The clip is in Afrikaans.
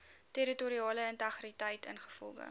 territoriale integriteit ingevolge